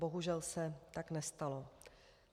Bohužel se tak nestalo.